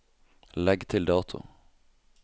Legg til dato